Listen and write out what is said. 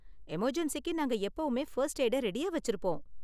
எமர்ஜென்ஸிக்கு நாங்க எப்பவுமே ஃபர்ஸ்ட் எய்டை ரெடியா வெச்சிருப்போம்.